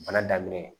Bana daminɛ ye